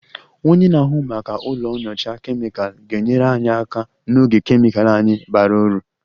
Onye na-ahụ maka ụlọ nyocha kemịkal ga-enyere anyị aka n'oge kemịkal anyị bara uru